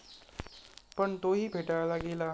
पण तोही फेटाळला गेला.